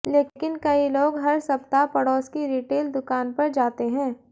लेकिन कई लोग हर सप्ताह पड़ोस की रिटेल दुकान पर जाते हैं